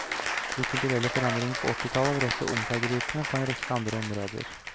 De kulturelle forandringene på åttitallet var også omseggripende på en rekke andre områder.